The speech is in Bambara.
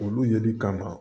Olu yeli kama